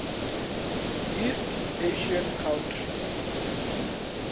east asian countries